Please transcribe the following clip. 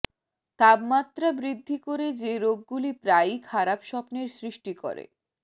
তাপমাত্রা বৃদ্ধি করে যে রোগগুলি প্রায়ই খারাপ স্বপ্নের সৃষ্টি করে